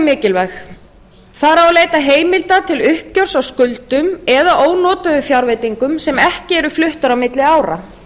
mikilvæg þar á að leita heimilda til uppgjörs á skuldum eða ónotuðum fjárveitingum sem ekki eru fluttar á milli ára